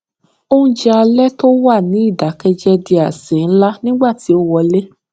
oúnjẹ alé tó wà ní ìdákẹjẹ di àsè ńlá nígbà tí o wọlé